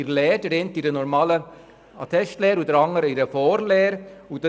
Der eine befindet sich in einer normalen Attestlehre und der andere in einer Vorlehre.